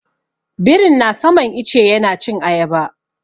Birin na saman ice yana cin ayaba.